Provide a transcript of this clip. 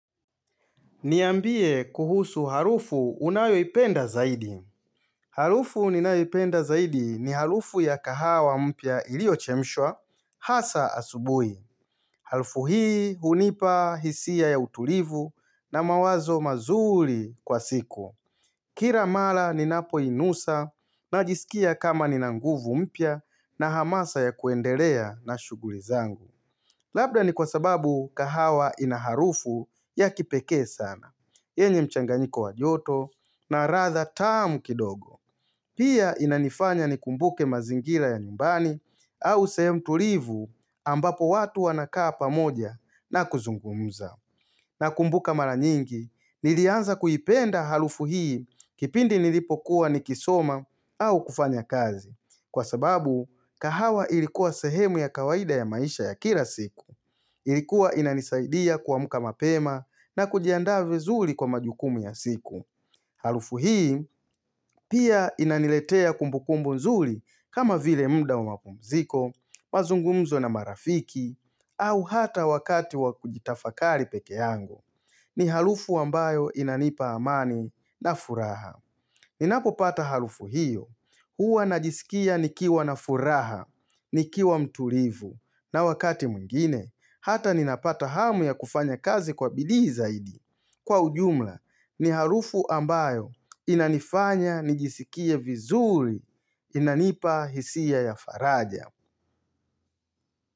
Niambie kuhusu harufu unayoipenda zaidi. Harufu ninayoipenda zaidi ni harufu ya kahawa mpya iliochemshwa, hasa asubui. Harufu hii hunipa hisia ya utulivu na mawazo mazuri kwa siku. Kila mara ni napo inusa najisikia kama ni na nguvu mpya na hamasa ya kuendelea na shuguli zangu. Labda ni kwa sababu kahawa inaharufu ya kipeke sana. Yenye mchanganiko wa joto na ratha tamu kidogo. Pia inanifanya ni kumbuke mazingira ya nyumbani au sehemu tulivu ambapo watu wanakaa pamoja na kuzungumza. Nakumbuka mara nyingi, nilianza kuipenda halufu hii kipindi nilipokuwa nikisoma au kufanya kazi. Kwa sababu, kahawa ilikuwa sehemu ya kawaida ya maisha ya kila siku. Ilikuwa inanisaidia kuamuka mapema na kujianda vizuri kwa majukumu ya siku Halufu hii pia inaniletea kumbukumbu nzuri kama vile mda wa mapumziko, mazungumzo na marafiki au hata wakati wakujitafakari peke yangu ni halufu ambayo inanipa amani na furaha Ninapo pata halufu hiyo huwa najisikia nikiwa na furaha, nikiwa mturivu na wakati mwingine, hata ninapata hamu ya kufanya kazi kwa bidii zaidi. Kwa ujumla, ni harufu ambayo inanifanya nijisikie vizuri inanipa hisia ya faraja.